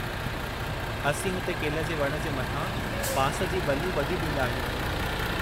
असीं हुते केले जे वणु जे मथां बांस जी बल्लियूं ॿधी ॾींदा आहियूं।